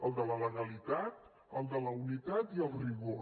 el de la legalitat el de la unitat i el rigor